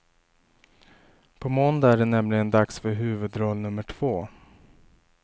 På måndag är det nämligen dags för huvudroll nummer två.